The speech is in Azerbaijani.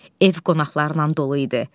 Ev qonaqlarla dolu idi.